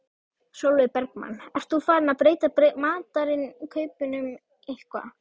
Sólveig Bergmann: Ert þú farinn að breyta matarinnkaupunum eitthvað?